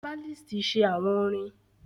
Herbalist make chants